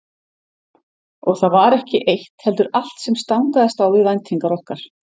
Og það var ekki eitt heldur allt sem stangaðist á við væntingar okkar.